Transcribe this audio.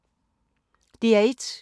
DR1